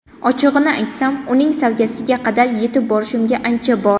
Ochig‘ini aytsam, uning saviyasiga qadar yetib borishimga ancha bor.